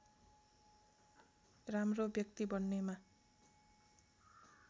राम्रो व्यक्ति बन्नेमा